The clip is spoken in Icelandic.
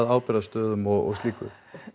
ábyrgðarstöðum og slíku